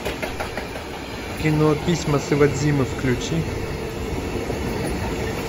кино письма с иводзимы включи